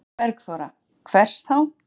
Eva Bergþóra: Hvers þá?